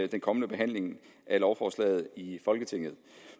den kommende behandling af lovforslaget i folketinget